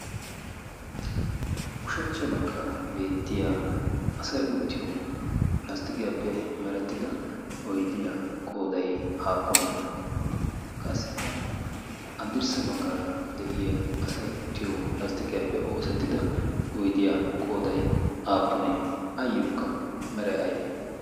Ushshachcha baggaara beettiyaa asay uttiyo lasttiqiyappe merettida oyddiyaa qooday aappune? Qassikka haddirssa baggaara de'iyaa asay uttito lasttiqiyappe oosetida oyddiya qooday aappune? Ayyokka meray aybbe?